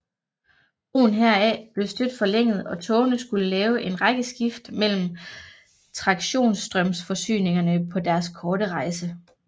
Brugen heraf blev stødt forlænget og togene skulle lave en række skift mellem traktionsstrømforsyningerne på deres korte rejse